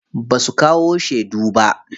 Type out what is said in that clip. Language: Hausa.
Basu kawo shedu ba.